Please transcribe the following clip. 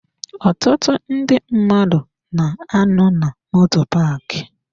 Ọtụtụ ndị mmadụ na-anọ na moto paaki.